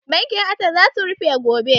Bankin assess za su rufe gobe